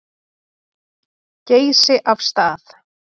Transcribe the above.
Geysi af stað.